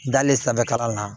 Dale sanfɛ kalan na